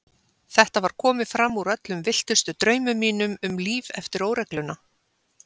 Þetta var komið fram úr öllum villtustu draumum mínum um líf eftir óregluna.